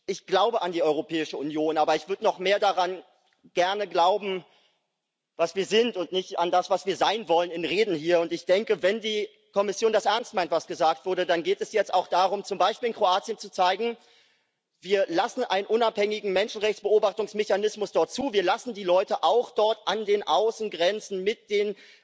Ich glaube an die Europäische Union, aber ich würde gerne noch mehr daran glauben, was wir sind, und nicht an das, was wir in Reden hier sein wollen. Wenn die Kommission das ernst meint, was gesagt wurde, dann geht es jetzt auch darum, zum Beispiel in Kroatien zu zeigen Wir lassen einen unabhängigen Menschenrechts Beobachtungsmechanismus dort zu, wir lassen die Leute auch dort an den Außengrenzen mit den